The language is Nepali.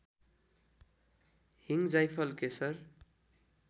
हिङ जाइफल केशर